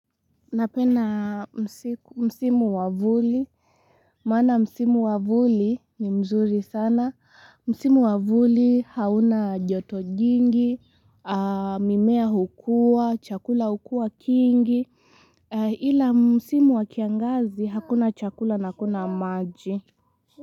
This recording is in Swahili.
Napenda msimu wavuli, maana msimu wavuli ni mzuri sana, msimu wavuli hauna joto jingi, mimea hukua, chakula hukua kingi, ila msimu wakiangazi hakuna chakula na hakuna maji.